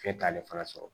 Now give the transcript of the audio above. F'e t'ale fana sɔrɔ